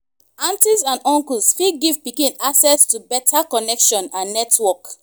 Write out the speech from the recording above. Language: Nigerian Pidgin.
aunties and uncles fit give pikin access to better connection and network